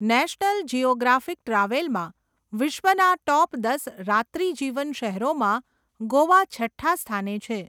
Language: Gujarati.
નેશનલ જિયોગ્રાફિક ટ્રાવેલમાં વિશ્વના ટોપ દસ રાત્રિ જીવન શહેરોમાં ગોવા છઠ્ઠા સ્થાને છે.